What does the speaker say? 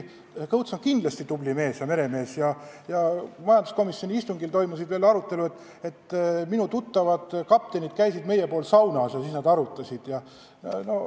Kõuts on kindlasti tubli mees ja hea meremees ja majanduskomisjoni istungil toimusid arutelud ja minu tuttavad kaptenid käisid meie pool saunas ja siis nad ütlesid seda ja teist.